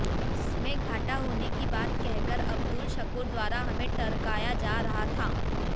जिसमें घाटा होने की बात कहकर अब्दुल शकूर द्वारा हमें टरकाया जा रहा था